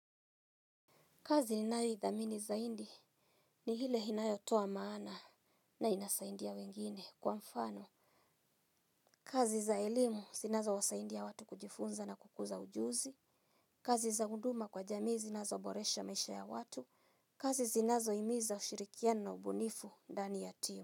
Kazi ninayo ithamini zaidi ni ile inayotua maana na inasaidia wengine kwa mfano. Kazi za elimu zinazowasaidia watu kujifunza na kukuza ujuzi. Kazi za huduma kwa jamii zinazoboresha maisha ya watu. Kazi zinazo himiza ushirikiano na ubunifu ndani ya timu.